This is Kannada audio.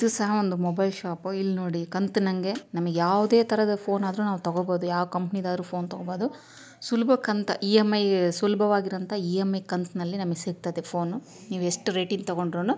ಇದು ಸಹ ಒಂದು ಮೊಬೈಲ್ ಶಾಪ್ . ಇಲ್ಲಿ ನೋಡಿ ಕಾಂತನಹಂಗೆ ನಮಗೆ ಯಾವುದೇ ತರಹದ ಫೋನ್ ಆದರೂ ನಾವ್ ತಗೋಬಹುದು. ಯಾವ ಕಂಪನಿ ದಾದರೂ ಫೋನ್ ತಗೋಬಹುದು. ಸುಲಭಕ್ ಅಂತ ಇಎಂಐ ಸಿಲಬ್ಯವಾಗಿರುವಂತ ಇಎಂಐ ಕಂಠನಲ್ಲಿ ನಮಗೆ ಸಿಗ್ತದೆ ಫೋನ್ . ನೀವೆಷ್ಟು ರೇಟ್ ಇಂದ್ ತೊಗೊಂಡ್ರುನು --